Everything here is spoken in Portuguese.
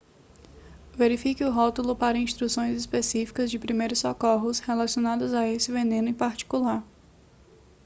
verifique o rótulo para instruções específicas de primeiros socorros relacionadas a esse veneno em particular